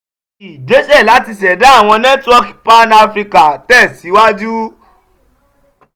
igbesẹ lati ṣẹda awọn nẹtiwọọki pan-african tẹsiwaju.